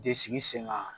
De sigi sen kan